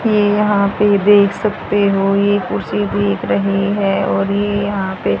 ये यहां पे देख सकते हो ये कुर्सी दिख रही है और ये यहां पे--